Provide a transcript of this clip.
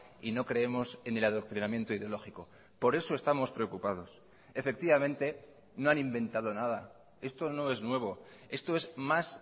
y no creemos en el adoctrinamiento ideológico por eso estamos preocupados efectivamente no han inventado nada esto no es nuevo esto es más